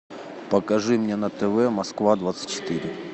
покажи мне на тв москва двадцать четыре